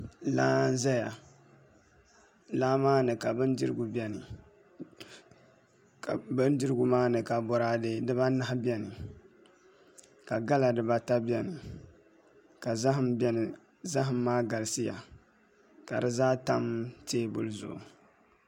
Laa n ʒuya laa maa ni ka bindirigu bɛni bindirigu maa ni ka boraadɛ dibaanahi bɛni ka gala dibata bɛni ka zaham bɛni zaham maa galisiya ka di zaa tam teebuli zuɣu